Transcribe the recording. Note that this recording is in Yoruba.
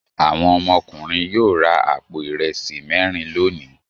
Àwọn ọmọkùnrin yóò ra àpò ìrẹsì mẹ́rin lónìí.